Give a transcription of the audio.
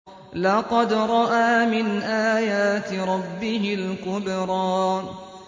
لَقَدْ رَأَىٰ مِنْ آيَاتِ رَبِّهِ الْكُبْرَىٰ